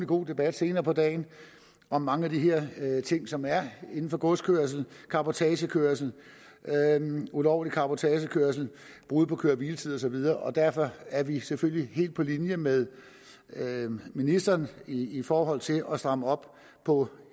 god debat senere på dagen om mange af de her ting som er inden for godskørsel cabotagekørsel ulovlig cabotagekørsel brud på køre hvile tids og videre derfor er vi selvfølgelig helt på linje med ministeren i i forhold til at stramme op på